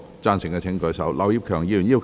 贊成的請舉手。